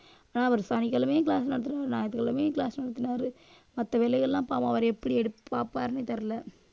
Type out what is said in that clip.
அவரு சனிக்கிழமையும் class நடத்தினாரு. ஞாயிற்றுக்கிழமையும் class நடத்தினாரு. மத்த வேலையெல்லாம் பாவம். அவர் எப்படி எடுத்து பாப்பாருன்னே தெரியலே.